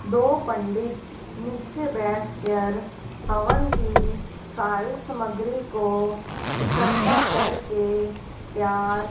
दो पंडित नीचे बैठकर हवन की सारी सामग्री को इकट्ठा करके तैयार--